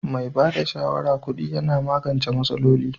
Mai ba da shawarma kudi Yana magance masaloli.